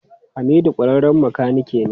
Hamidu kwararren makanike ne.